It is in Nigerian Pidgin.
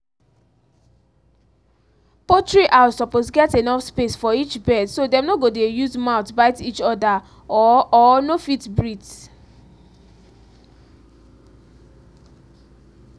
poultry house suppose get enough space for each bird so dem no go dey use mouth bite each other or or no fit breathe